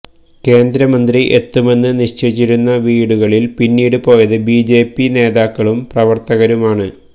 കേന്ദ്ര മന്ത്രി എത്തുമെന്ന് നിശ്ചിയിച്ചിരുന്ന വീടുകളിൽ പിന്നീട് പോയത് ബിജെപി നേതാക്കളും പ്രവര്ത്തകരും ആണ്